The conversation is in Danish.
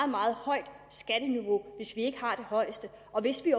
meget højt skatteniveau hvis ikke vi har det højeste og hvis vi